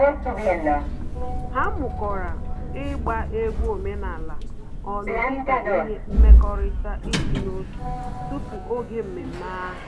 Ha mukọrọ ịgba egwu omenala ọnụ dị ka ihe nkwekọrịta ịdị n'otu tupu oge mmemme ahụ